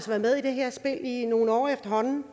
været med i det her spil i nogle år efterhånden